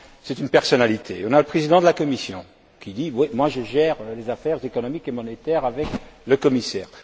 c'est une personnalité. On a le Président de la Commission qui dit Moi je gère les affaires économiques et monétaires avec le commissaire.